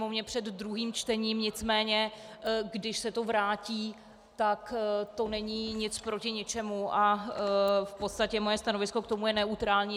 Sněmovně před druhým čtením, nicméně když se to vrátí, tak to není nic proti ničemu a v podstatě moje stanovisko k tomu je neutrální.